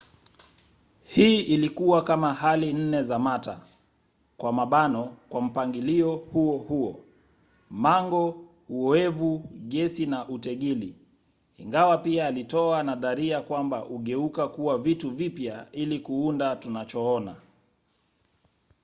hii ilikuwa kama hali nne za mata kwa mpangilio huohuo: mango uoevu gesi na utegili ingawa pia alitoa nadharia kwamba hugeuka kuwa vitu vipya ili kuunda tunachoona